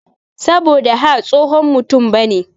Saboda ha tsohon mutum bane.